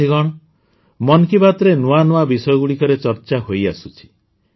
ସାଥୀଗଣ ମନ୍ କି ବାତ୍ରେ ନୂଆ ନୂଆ ବିଷୟଗୁଡ଼ିକରେ ଚର୍ଚ୍ଚା ହୋଇଆସୁଛି